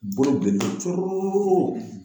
Bolo bilelen don corolen don coo.